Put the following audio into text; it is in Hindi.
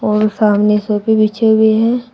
और सामने सोफे बीछे हुए है।